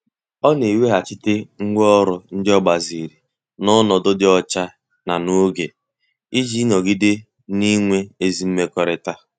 Ọ na-eweghachite ngwá ọrụ ndị o gbaziri na onodu di ocha na n'oge, iji nọgide na-enwe ezi mmekọrịta.